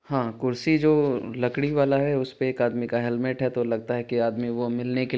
हां कुर्सी जो लकड़ी वाला है उसपे एक आदमी का हेलमेट हैं तो लगता है की आदमी व मिलने के--